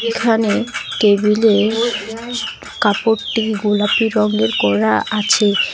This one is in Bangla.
এখানে টেবিল -এ কাপড়টি গোলাপি রঙের করা আছে।